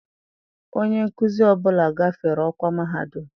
Onye nkuzi ọ bụla gafere ọkwa mahadum.